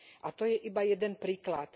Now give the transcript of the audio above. A to je iba jeden príklad.